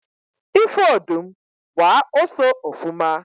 ifu odum, gba oso ofuma